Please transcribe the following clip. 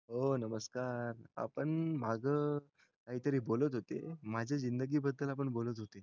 ओ नमस्कार आपण माझं काय तरी बोलत होते माझ्या जिंदगी बद्दल आपण बोलत होते